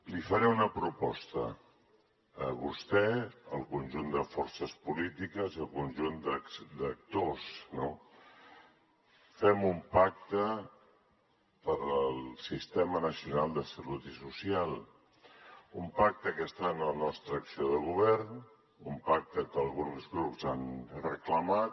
li faré una proposta a vostè al conjunt de forces polítiques i al conjunt d’actors no fem un pacte pel sistema nacional de salut i social un pacte que està en la nostra acció de govern un pacte que alguns grups han reclamat